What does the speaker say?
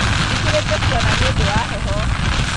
Njĩkĩrĩte burana nĩũndũ wa heho